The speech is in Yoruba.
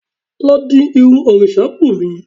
Lọ di irun òrìṣabunmi